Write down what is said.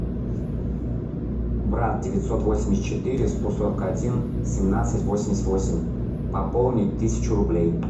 брат девятьсот восемьдесят четыре сто сорок один семнадцать восемьдесят восемь пополнить тысячу рублей